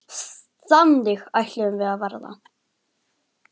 Þannig ætluðum við að verða.